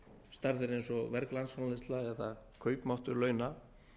stærðir eins og verg landsframleiðsla eða kaupmáttur launa